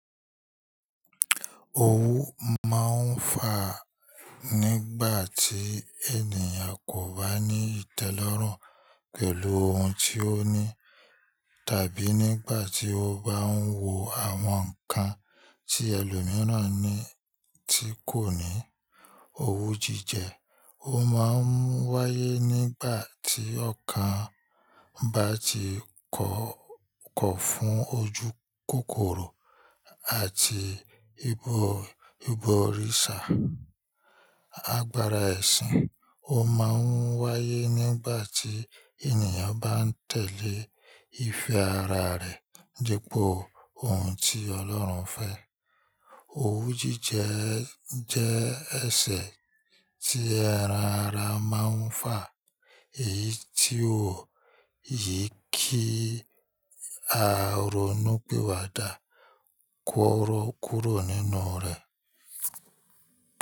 Owú máa ń fà nígbà tí ènìyàn kò bá ní ìtẹ́lọ́rùn pẹ̀lú ohun tí ó ní tàbí nígbà tí ó bá ń wò àwọn nǹkan tí ẹlòmíràn ní tí kò ní. Owú jíjẹ ó máa ń wáyé nígbà tí ọkàn bá ti kọ̀ ọ́-kọ̀ fún ojúkòkòrò àti ibo, ìbọ̀rìsà. Agbara ẹ̀sìn o máa ń wáyé nígbà tí ènìyàn bá ń tẹ̀lé ìfẹ́ ara rẹ̀ dípò ohun tí Ọlọ́run fẹ́. Owú jíjẹ jẹ́ ẹsẹ̀ tí ẹran ara máa ń fà, èyí tí o ò yí ki a ronú pì wà dà kú ọrọ́ kúrò nínú rẹ.